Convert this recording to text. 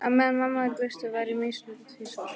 Á meðan mamma var í burtu var ég misnotuð tvisvar.